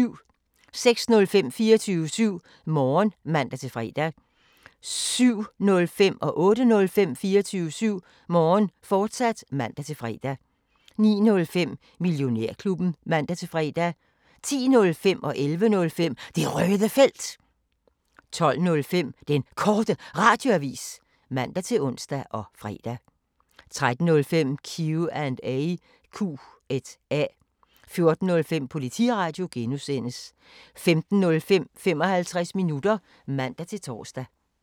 06:05: 24syv Morgen (man-fre) 07:05: 24syv Morgen, fortsat (man-fre) 08:05: 24syv Morgen, fortsat (man-fre) 09:05: Millionærklubben (man-fre) 10:05: Det Røde Felt 11:05: Det Røde Felt, fortsat 12:05: Den Korte Radioavis (man-ons og fre) 13:05: Q&A 14:05: Politiradio (G) 15:05: 55 minutter (man-tor)